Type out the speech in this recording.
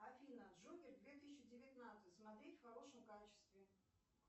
афина джокер две тысячи девятнадцать смотреть в хорошем качестве